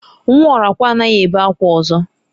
Nwa Orakwe anaghi ebe akwa ozo.